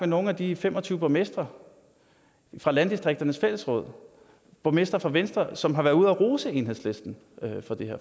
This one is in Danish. nogle af de fem og tyve borgmestre fra landdistrikternes fællesråd borgmestre fra venstre som har været ude at rose enhedslisten